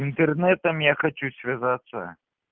интернетом я хочу связаться